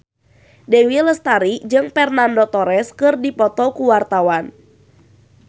Dewi Lestari jeung Fernando Torres keur dipoto ku wartawan